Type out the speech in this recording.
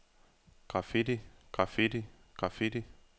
graffiti graffiti graffiti